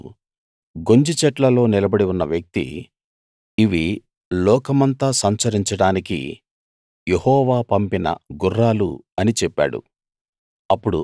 అప్పుడు గొంజి చెట్లలో నిలబడి ఉన్న వ్యక్తి ఇవి లోకమంతా సంచరించడానికి యెహోవా పంపిన గుర్రాలు అని చెప్పాడు